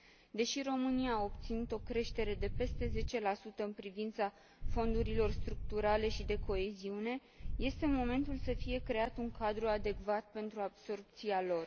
Deși România a obținut o creștere de peste 10 în privința fondurilor structurale și de coeziune, este momentul să fie creat un cadru adecvat pentru absorbția lor.